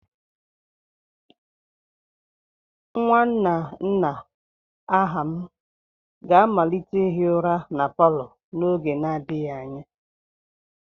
Nwanna nna Aham ga-amalite ihi ụra na palo n'oge n'adịghị anya.